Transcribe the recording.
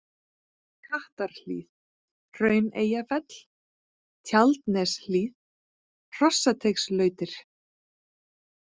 Kattarhlíð, Hrauneyjafell, Tjaldaneshlíð, Hrossateigslautir